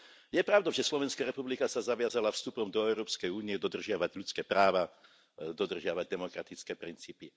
Je pravdou, že Slovenská republika sa zaviazala vstupom do Európskej únie dodržiavať ľudské práva, dodržiavať demokratické princípy.